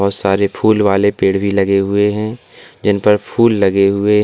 और सारे फूल वाले पेड़ भी लगे हुए हैं जिन पर फूल लगे हुए --